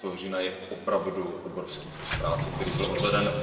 19. října, je opravdu obrovský kus práce, který byl odveden.